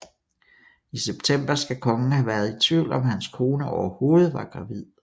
I september skal kongen have været i tvivl om hans kone overhovedet var gravid